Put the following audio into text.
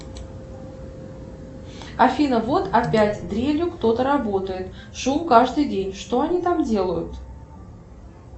афина вот опять дрелью кто то работает шум каждый день что они там делают